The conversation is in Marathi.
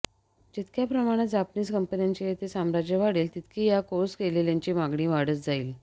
जितक्या प्रमाणात जापनीस कंपन्यांचे येथे साम्राज्य वाढेल तितकी या कोर्स केलेल्यांची मागणी वाढत जाईल